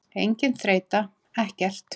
Engin þreyta, ekkert.